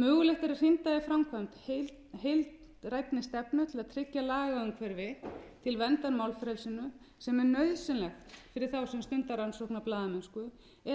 mögulegt er að hrinda í framkvæmd heildrænni stefnu til að tryggja lagaumhverfi til verndar málfrelsinu sem er nauðsynlegt fyrir þá sem stunda rannsóknarblaðamennsku